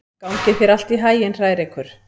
Gangi þér allt í haginn, Hrærekur.